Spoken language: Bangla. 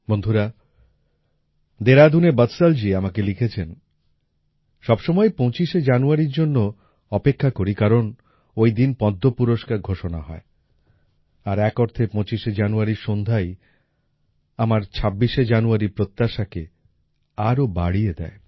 বন্ধুরা দেরাদুনের বৎসল জী আমাকে লিখেছেন সবসময়ই ২৫শে জানুয়ারির জন্য অপেক্ষা করি কারণ ওই দিন পদ্ম পুরস্কার ঘোষণা হয় আর এক অর্থে ২৫শে জানুয়ারির সন্ধ্যাই আমার ২৬শে জানুয়ারির প্রত্যাশাকে আরও বাড়িয়ে দেয়